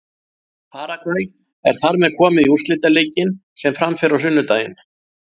Paragvæ er þar með komið í úrslitaleikinn sem fram fer á sunnudaginn.